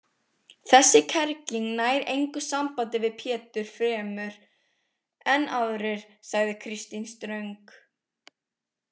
Þessi kerling nær engu sambandi við Pétur fremur en aðrir, sagði Kristín ströng.